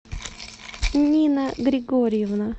нина григорьевна